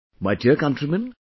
My dear countrymen,